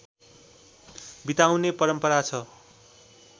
बिताउने परम्परा छ